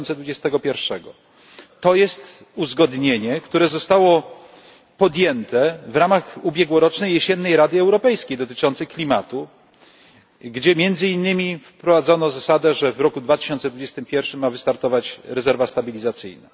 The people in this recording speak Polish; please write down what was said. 2021. To jest uzgodnienie, które zostało podjęte w ramach ubiegłorocznej, jesiennej Rady Europejskiej dotyczącej klimatu, gdzie między innymi wprowadzono zasadę, że w roku 2021 ma wystartować rezerwa stabilizacyjna.